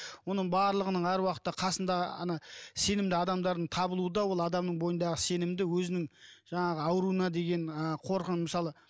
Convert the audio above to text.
оның барлығының әр уақытта қасында ана сенімді адамдардың табылуы да ол адамның бойындағы сенімді өзінің жаңағы ауруына деген ы мысалы